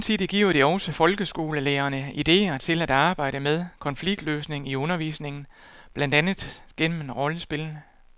Samtidig giver det også folkeskolelærerne idéer til at arbejde med konfliktløsning i undervisningen, blandt andet gennem rollespil.